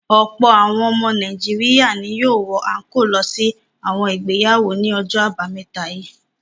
Ọ̀pọ̀ àwọn ọmọ Nàìjíríà ni yóò wọ àńkóò lọ sí àwọn ìgbéyàwó ní ọjọ́ àbámẹ́ta yìí.